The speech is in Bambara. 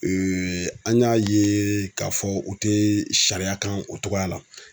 an y'a ye k'a fɔ u tɛ sariya kan o togoya la.